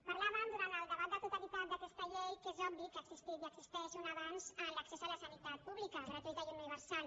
parlàvem durant el debat de totalitat d’aquesta llei que és obvi que ha existit i existeix un abans a l’accés a la sanitat pública gratuïta i universal